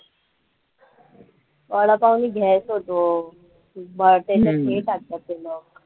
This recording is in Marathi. वडापावने gas होतो, व त्याच्यात हे टाकतात ते लोकं